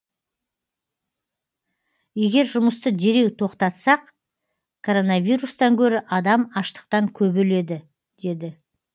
егер жұмысты дереу тоқтатсақ коронавирустан гөрі адам аштықтан көп өледі деді